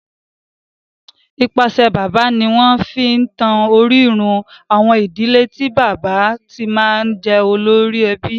Nípasẹ̀ bàbá ni wọ́n fi ń tan orírun àwọn ìdílé tí bàbá ti máa ń jẹ́ olórí ẹbí.